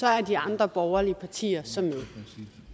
er de andre borgerlige partier så med